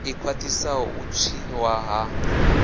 i khwaṱhisaho u tswiwa ha